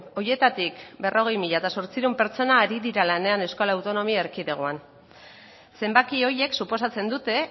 horietatik berrogei mila zortziehun pertsona ari dira lanean euskal autonomia erkidegoan zenbaki horiek suposatzen dute